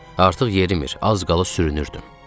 Artıq yerimir, az qala sürünürdüm.